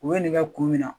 U bɛ nɛgɛ kun min na